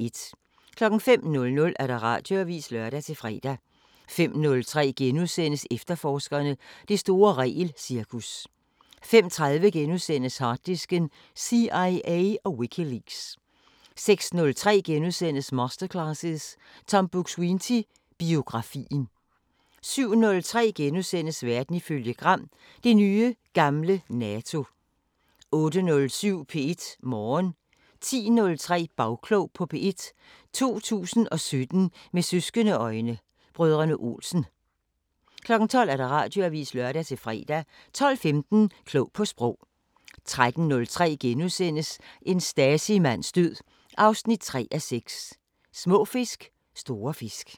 05:00: Radioavisen (lør-fre) 05:03: Efterforskerne: Det store regelcirkus * 05:30: Harddisken: CIA og Wikileaks * 06:03: Masterclasses – Tom Buk-Swienty: Biografien * 07:03: Verden ifølge Gram: Det nye gamle NATO * 08:07: P1 Morgen 10:03: Bagklog på P1: 2017 med søskende-øjne: Brødrene Olsen 12:00: Radioavisen (lør-fre) 12:15: Klog på Sprog 13:03: En Stasi-mands død 3:6: Små fisk, store fisk *